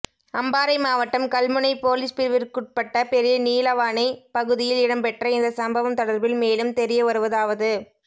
அம்பாறை மாவட்டம் கல்முனை பொலிஸ் பிரிவிற்குட்பட்ட பெரிய நீலாவணை பகுதியில் இடம்பெற்ற இந்த சம்பவம் தொடர்பில் மேலும் தெரியவருவதாவது